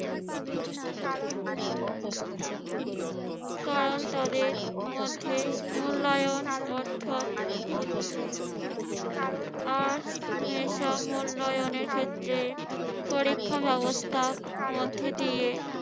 কারণ তাদের মধ্যে মূল্যায়ন অর্থাৎ হচ্ছে আজ মূল্যায়নের ক্ষেত্রে পরীক্ষা ব্যবস্থার মধ্যে দিয়ে